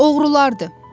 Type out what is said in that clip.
Oğrulardır.